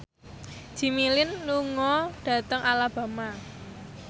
Jimmy Lin lunga dhateng Alabama